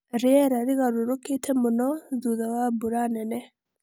Rĩera rĩgarũrũkĩte mũno thutha wa mbura nene.